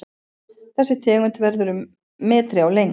Þessi tegund verður um metri á lengd.